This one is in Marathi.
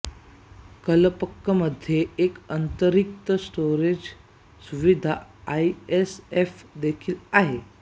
कलपक्कममध्ये एक अंतरिम स्टोरेज सुविधा आयएसएफ देखील आहे